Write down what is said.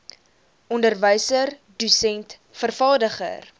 onderwyser dosent vervaardiger